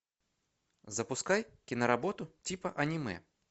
запускай киноработу типа аниме